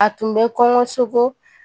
A tun bɛ kɔngɔsoko